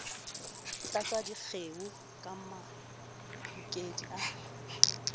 tlatsa dikgeo ka mahokedi a